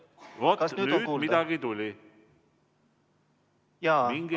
Vaat nüüd midagi tuli!